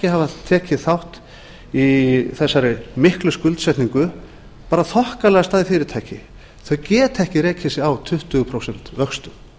hafa tekið þátt í þessari miklu skuldsetningu bara þokkalegustu fyrirtæki þau geta ekki rekið sig á tuttugu prósent vöxtum